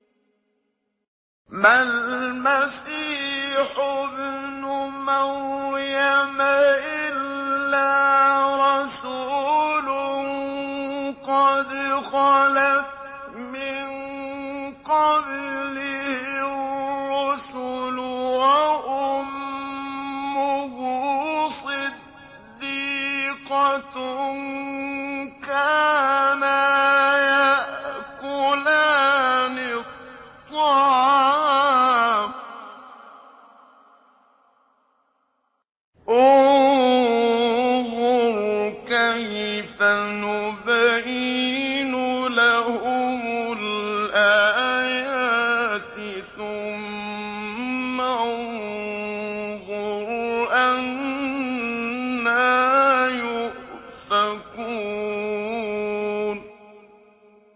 مَّا الْمَسِيحُ ابْنُ مَرْيَمَ إِلَّا رَسُولٌ قَدْ خَلَتْ مِن قَبْلِهِ الرُّسُلُ وَأُمُّهُ صِدِّيقَةٌ ۖ كَانَا يَأْكُلَانِ الطَّعَامَ ۗ انظُرْ كَيْفَ نُبَيِّنُ لَهُمُ الْآيَاتِ ثُمَّ انظُرْ أَنَّىٰ يُؤْفَكُونَ